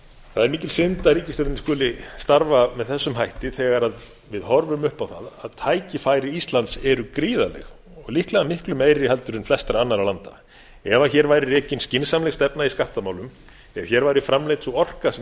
það er mikil synd að ríkisstjórnin skuli starfa með þessum hætti þegar við horfum upp á það að tækifæri íslands eru gríðarleg og líklega miklu meiri en flestra annarra landa ef hér væri rekin skynsamleg stefna í skattamálum ef hér væri framleidd sú orka sem